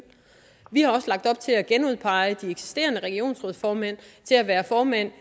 vi har også lagt op til at genudpege de eksisterende regionsrådsformænd til at være formænd